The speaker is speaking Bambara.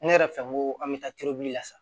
Ne yɛrɛ fɛ n ko an bɛ taa turuli la sa